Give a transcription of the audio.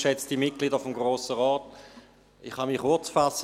Ich kann mich kurzfassen.